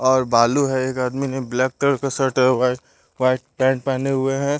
और बालू है एक आदमी ने ब्लैक कलर का शर्ट है वाइट वाइट पैंट पहने हुए हैं।